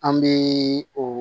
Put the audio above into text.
An bɛ o